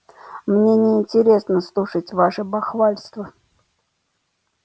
мне не интересно слушать ваше бахвальство